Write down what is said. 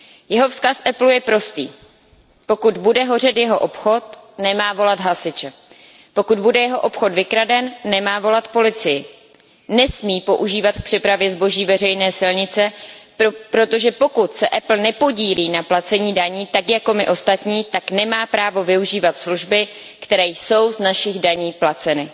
Jeho vzkaz Applu je prostý pokud bude hořet jeho obchod, nemá volat hasiče, pokud bude jeho obchod vykraden, nemá volat policii, nesmí používat k přepravě zboží veřejné silnice, protože pokud se Apple nepodílí na placení daní tak jako my ostatní, tak nemá právo využívat služby, které jsou z našich daní placeny.